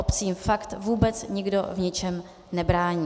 Obcím fakt vůbec nikdo v ničem nebrání.